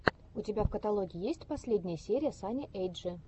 у тебя в каталоге есть последняя серия сани эйчди